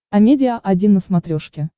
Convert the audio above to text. амедиа один на смотрешке